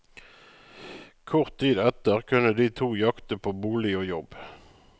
Kort tid etter kunne de to jakte på bolig og jobb.